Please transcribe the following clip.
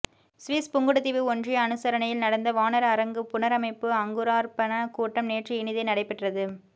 Swiss Pungudutivu ஒன்றிய அனுசரணையில் நடந்த வாணர் அரங்கு புனரமைப்பு அங்குரார்ப்பண கூட்டம் நேற்று இனிதே நடைபெற்றது